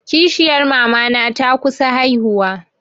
Kishiyar mamana ta kusa haihuwa.